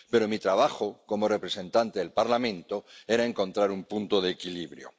pero mi trabajo como representante del Parlamento era encontrar un punto de equilibrio.